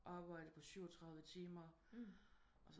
Arbejdet på 37 timer